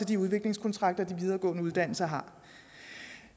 de udviklingskontrakter de videregående uddannelser har